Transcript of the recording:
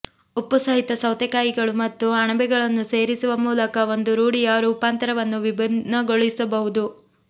ಉಪ್ಪುಸಹಿತ ಸೌತೆಕಾಯಿಗಳು ಮತ್ತು ಅಣಬೆಗಳನ್ನು ಸೇರಿಸುವ ಮೂಲಕ ಒಂದು ರೂಢಿಯ ರೂಪಾಂತರವನ್ನು ವಿಭಿನ್ನಗೊಳಿಸಬಹುದು